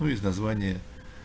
ну из названия